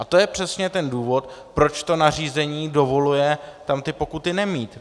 A to je přesně ten důvod, proč to nařízení dovoluje tam ty pokuty nemít.